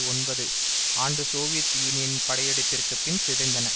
ஒன்பது ஆண்டு சோவியத் யூனியனின் படையெடுப்பிற்கு பின் சிதைந்தன